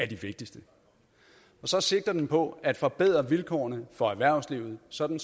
de vigtigste og så sigter den på at forbedre vilkårene for erhvervslivet sådan